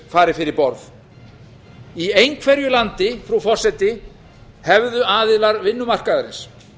fari fyrir borð í einhverju landi frú forseti hefðu aðilar vinnumarkaðarins